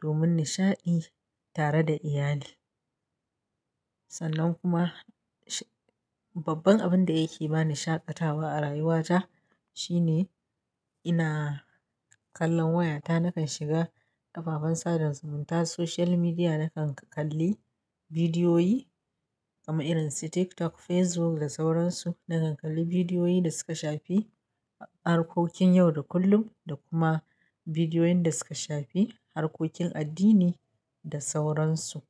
domin nishaɗi tare da iyali. Sannan kuma babban abin da yake bani shaƙatawa a rayuwata shine ina kallon wayata, nakan shiga ababen sada zumunta, social media, nakan kalli bidiyoyi kamar irin su TikTok, Facebook da sauran su. Nakan kalli bidiyoyi da suka shafi harkokin yau da kullum da kuma bidiyoyin da suka shafi harkokin addini da sauran su.